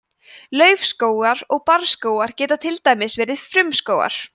laufskógar og barrskógar geta til dæmis verið frumskógar